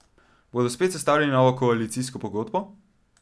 Bodo spet sestavljali novo koalicijsko pogodbo?